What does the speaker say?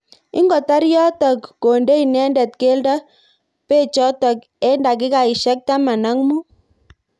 Ingotar yotok konde inendet keldo bechotok eng dakikaishek taman ak mut.